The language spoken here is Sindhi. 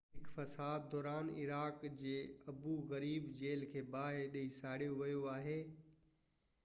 هڪ فساد دوران عراق جي ابو غريب جيل کي باهه ڏئي ساڙيو ويو آهي